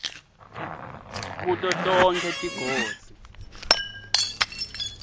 kuto tonkhe tigodzi